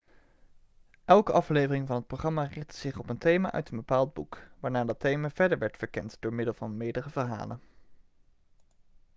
elke aflevering van het programma richtte zich op een thema uit een bepaald boek waarna dat thema verder werd verkend door middel van meerdere verhalen